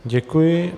Děkuji.